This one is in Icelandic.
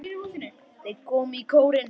Þeir komu í kórinn.